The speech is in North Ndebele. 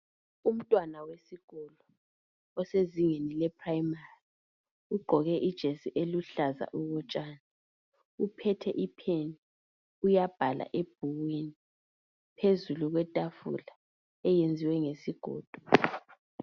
Umntwana osezingeni le primary .Ugqoke ijesi eluhlaza okotshani .Uphethe ipen uyabhala ebhukwini phezulu kwetafula eyenziwe ngezigodo .